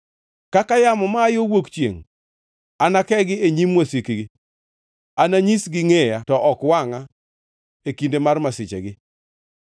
Kaka yamo ma aa yo wuok chiengʼ, anakegi e nyim wasikgi; ananyisgi ngʼeya to ok wangʼa e kinde mar masichegi.”